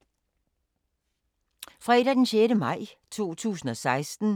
Fredag d. 6. maj 2016